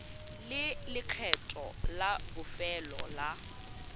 le lekgetho la bofelo la